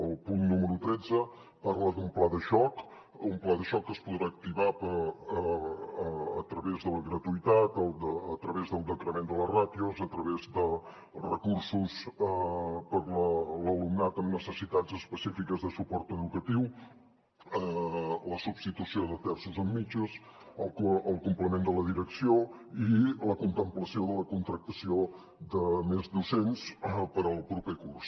el punt número tretze parla d’un pla de xoc un pla de xoc que es podrà activar a través de la gratuïtat a través del decrement de les ràtios a través dels recursos per a l’alumnat amb necessitats específiques de suport educatiu la substitució de terços en mitges el complement de la direcció i la contemplació de la contractació de més docents per al proper curs